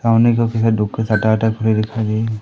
सामने टपरी दिखाई गई है।